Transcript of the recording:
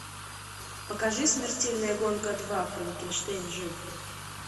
покажи смертельная гонка два франкенштейн жив